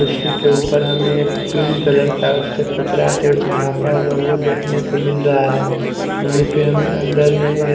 कुर्सी के ऊपर हमें पिंक कलर का उसे पर कपड़ा से उसे झांपा हुआ वो देखने से मिल रहा है वहीं पे हमें अंदर में --